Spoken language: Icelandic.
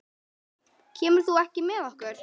Kemur þú ekki með okkur?